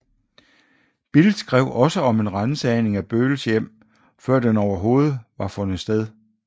Bild skrev også om en ransagning af Bölls hjem før den overhovedet var fundet sted